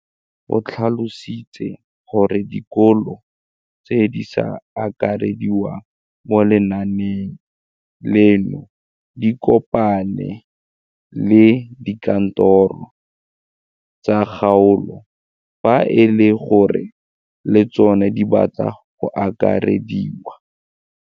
O tlhalositse gore dikolo tse di sa akarediwang mo lenaaneng leno di ikopanye le dikantoro tsa kgaolo fa e le gore le tsona di batla go akarediwa.